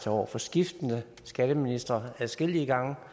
over for skiftende skatteministre adskillige gange har